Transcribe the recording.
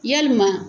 Yalima